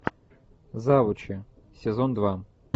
заучи сезон два